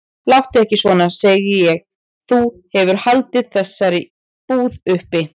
Láttu ekki svona, segi ég, þú hefur haldið þessari búð uppi.